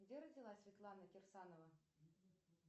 где родилась светлана кирсанова